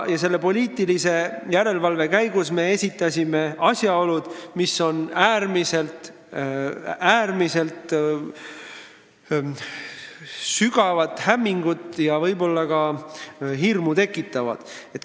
Selle poliitilise järelevalve käigus me viitasime asjaoludele, mis tekitavad äärmiselt suurt hämmingut ja võib-olla ka hirmu.